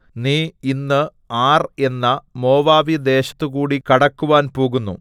നീ ഇന്ന് ആർ എന്ന മോവാബ്യദേശത്തുകൂടി കടക്കുവാൻ പോകുന്നു